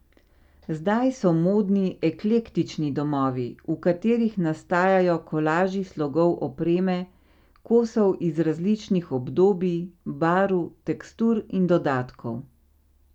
Zdaj so modni eklektični domovi, v katerih nastajajo kolaži slogov opreme, kosov iz različnih obdobij, barv, tekstur in dodatkov.